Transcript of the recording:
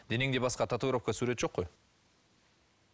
денеңде басқа татуировка сурет жоқ қой